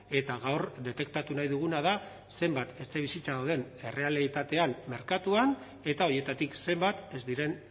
eta gaur detektatu nahi duguna da zenbat etxebizitza dauden errealitatean merkatuan eta horietatik zenbat ez diren